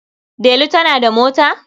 Delu tana da mota?